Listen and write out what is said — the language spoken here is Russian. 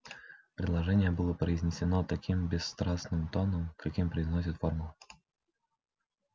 предложение было произнесено таким бесстрастным тоном каким произносят формулы